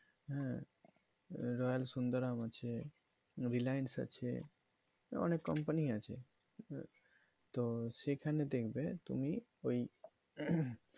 হ্যাঁ? royal সুন্দারাম আছে Relience আছে অনেক company আছে তো সেখানে দেখবে তুমি ওই